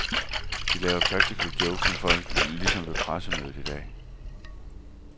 De laver praktical jokes med folk, ligesom ved pressemødet i dag.